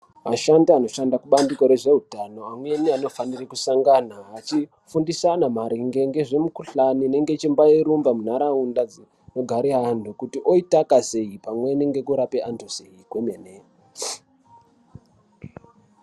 Ashandi anoshanda kubandiko rezveutano amweni anofanire kusangana achifundisana maringe ngezvemikuhlani inenge yechimbairumba munharaunda dzinogara anthu kuti oitaka sei pamweni ngekurape anthu sei kwemene.